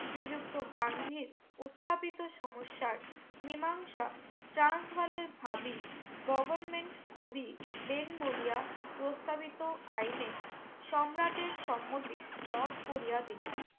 শ্রীযুক্ত গান্ধীর উথাপীত সমস্যার মীমাংসা ট্রান্স বালের ভাবি government কবি বেনবুলিয়া প্রস্তাবিত আইনে সম্রাটের সম্মতি রত করিয়া দিলেন